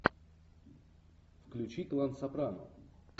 включи клан сопрано